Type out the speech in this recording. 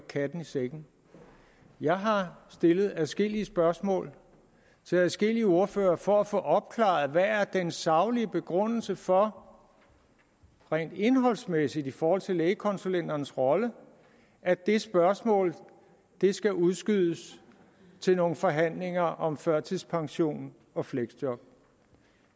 katten i sækken jeg har stillet adskillige spørgsmål til adskillige ordførere for at få opklaret hvad der er den saglige begrundelse for rent indholdsmæssigt i forhold til lægekonsulenternes rolle at det spørgsmål skal udskydes til nogle forhandlinger om førtidspension og fleksjob